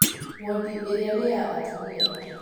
Wondi ĩrĩa nĩya atumia